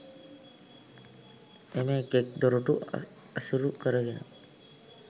එම එක් එක් දොරටු ඇසුරු කරගෙන